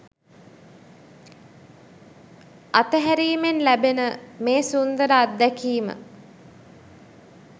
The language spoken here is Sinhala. අතහැරීමෙන් ලැබෙන මේ සුන්දර අත්දැකීම